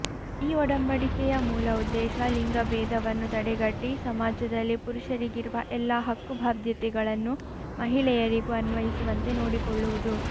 ಈ ಒಡಂಬಡಿಕೆಯ ಮೂಲ ಉದ್ದೇಶ ಲಿಂಗಬೇದವನ್ನು ತಡೆಗಟ್ಟಿ ಸಮಾಜದಲ್ಲಿ ಪುರುಷರಿಗಿರುವ ಎಲ್ಲ ಹಕ್ಕು ಬಾಧ್ಯತೆಗಳನ್ನು ಮಹಿಳೆಯರಿಗೂ ಅನ್ವಯಿಸುವಂತೆ ನೋಡಿಕೊಳ್ಳುವುದು